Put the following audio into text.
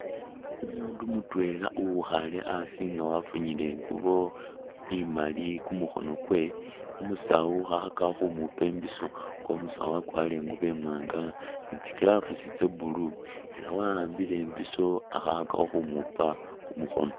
Umundu mutwela uwikhaale asi nga wafunyile inguubo imaali kumukhono kwe, umusaawu khakhakakho khumuupa imbiso nga umusaawo akwarire inguubo imwanga ni tsi gloves tse blue, ela waambile imbiiso akhakhakakho khumuupa khumukhono.